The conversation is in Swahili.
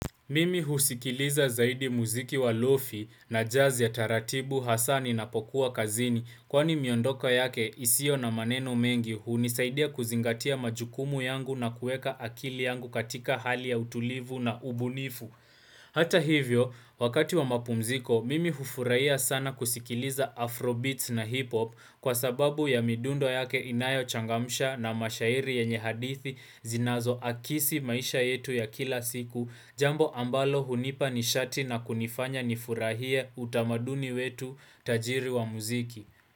Mimi husikiliza zaidi muziki wa lofi na jazz ya taratibu hasaa ninapokuwa kazini Kwani miondoka yake isiyo na maneno mengi hunisaidia kuzingatia majukumu yangu na kueka akili yangu katika hali ya utulivu na ubunifu Hata hivyo, wakati wa mapumziko, mimi hufurahia sana kusikiliza afrobeats na hiphop Kwa sababu ya midundo yake inayochangamsha na mashairi yenye hadithi zinazoakisi maisha yetu ya kila siku jambo ambalo hunipa nishati na kunifanya nifurahie utamaduni wetu tajiri wa muziki.